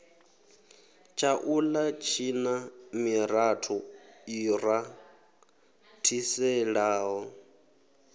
tshaula tshina miratho i rathiselaho